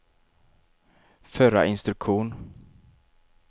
förra instruktion